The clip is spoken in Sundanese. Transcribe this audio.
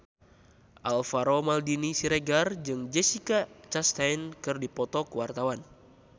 Alvaro Maldini Siregar jeung Jessica Chastain keur dipoto ku wartawan